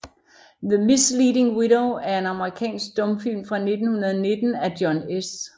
The Misleading Widow er en amerikansk stumfilm fra 1919 af John S